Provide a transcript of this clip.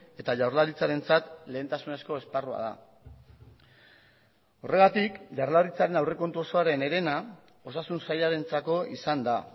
eta jaurlaritzarentzat lehentasunezko esparrua da horregatik jaurlaritzaren aurrekontu osoaren herena osasun sailarentzako izan da